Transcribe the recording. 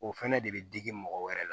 O fɛnɛ de bɛ digi mɔgɔ wɛrɛ la